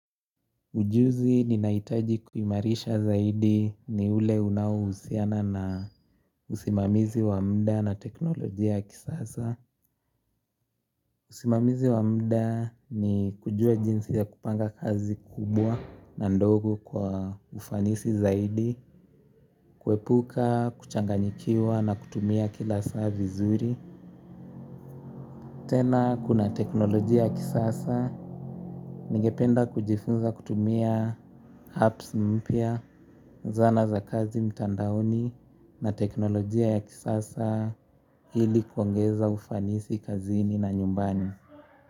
Ujuzi ninaohitaji kuimarisha zaidi ni ule unaohusiana na usimamizi wa muda na teknolojia ya kisasa. Usimamizi wa muda ni kujua jinsi ya kupanga kazi kubwa na ndogo kwa ufanisi zaidi. Kuepuka, kuchanganyikiwa na kutumia kila saa vizuri. Tena kuna teknolojia kisasa. Ningependa kujifunza kutumia apps mpya, zana za kazi mtandaoni na teknolojia ya kisasa ili kuongeza ufanisi kazini na nyumbani.